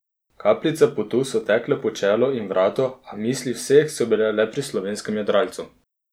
Kapljice potu so tekle po čelu in vratu, a misli vseh so bile le pri slovenskem jadralcu.